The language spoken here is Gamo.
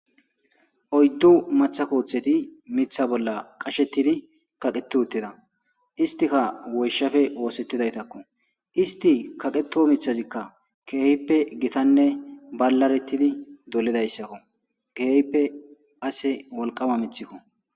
Oyddu matha kooththeti mitha bolla qashetidi kaqeti uttida istika woyshafe oosettidaytakko isti kaqeto mithazikka keehippe gitanne ballaretidi dolidayssakko keehippe ase woliqama mithikko